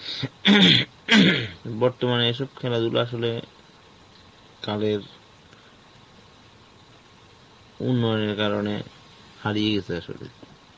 বর্তমানে এইসব খেলাধুলা আসলে, কালের, উন্নয়নের কারণে হারিয়ে গেছে আসলে.